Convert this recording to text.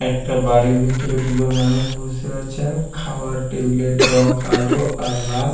একটা বাড়ির ভিতরে দুজন মানুষ বসে আছেন খাবার টেবিল এর রং কালো আর লাল।